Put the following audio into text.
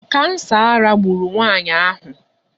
Kansa ara gburu nwaanyị ahụ.